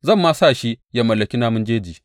Zan ma sa shi ya mallaki namun jeji.’